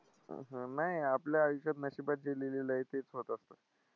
नाही, आपल्या आयुष्यात नशिबात जे लिहिलेलं आहे तेच होत असतं.